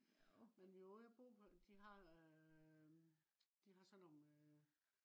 men vi var ude og bo på øh de har øh de har sådan nogle øh